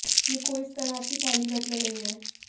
ये कोई इस तरह की पहली घटना नहीं है